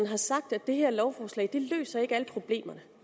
har sagt at det her lovforslag ikke løser alle problemerne